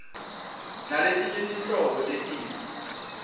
naletinye tinhlobo tetifo